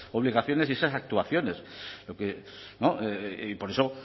obligaciones y esas actuaciones y por eso